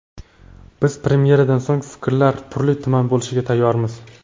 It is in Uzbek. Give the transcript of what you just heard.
Biz premyeradan so‘ng fikrlar turli-tuman bo‘lishiga tayyormiz.